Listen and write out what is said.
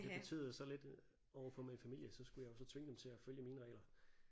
Det betyder så lidt overfor min familie så skulle jeg jo så tvinge dem til at følge mine regler